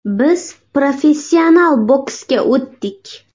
Biz professional boksga o‘tdik.